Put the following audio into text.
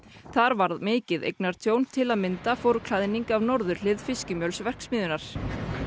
þar varð mikið eignatjón til að mynda fór klæðning af norðurhlið fiskimjölsverksmiðjunnar